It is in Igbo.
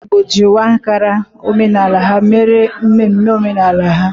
Ndị Igbo yi uwe Ankara omenala ha mere mmemme omenala ha.